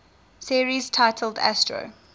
series titled astro